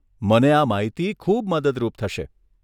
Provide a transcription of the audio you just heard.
મને આ માહિતી ખુબ મદદરૂપ થશે.